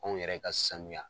Kow yɛrɛ ka sanuya.